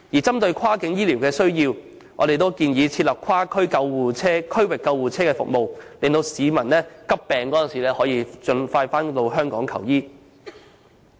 針對跨境醫療的需要，我們亦建議設立跨區域救護車服務，以便市民在患上急病時可盡快回港求醫。